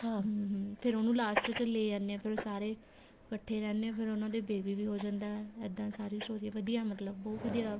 ਹਮ ਹਮ ਫੇਰ ਉਹਨੂੰ last ਚ ਲੈ ਆਨੇ ਏ ਫੇਰ ਉਹ ਸਾਰੇ ਇੱਕਠੇ ਰਹਿਨੇ ਏ ਫੇਰ ਉਹਨਾ ਦੇ baby ਵੀ ਹੋ ਜਾਂਦਾ ਇੱਦਾਂ ਸਾਰੀ story ਵਧੀਆ ਮਤਲਬ ਬਹੁਤ ਵਧੀਆ